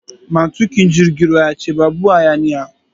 Matukin jirgin ya ce babu hayaniya!